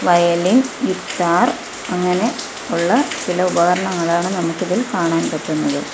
Violin guitar അങ്ങനെ ഉള്ള ചില ഉപകരണങ്ങളാണ് നമുക്കിതിൽ കാണാൻ പറ്റുന്നത്.